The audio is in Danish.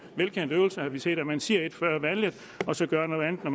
velkendt øvelse har vi set at man siger et før valget og så gør noget andet når